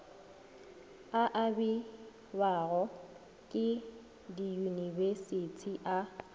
a abiwago ke diyunibesithi a